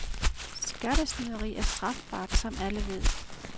Skattesnyderi er strafbart, som alle ved.